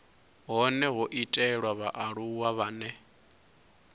hone ho itelwa vhaaluwa vhane